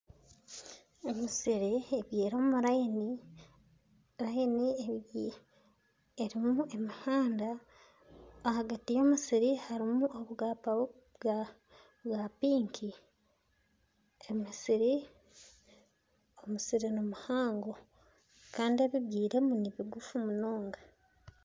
Emisiri ebyire omu rayini, rayini erimu emihanda ahagati y'emisiri harimu obwapa bwa piki emisiri nimihango kandi ebibyiremu nibigufu munonga